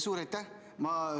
Suur aitäh!